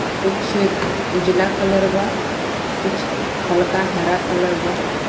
कुछ उजला कलर बा कुछ हल्का हरा कलर बा.